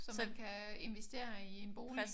Som man kan investere i en bolig?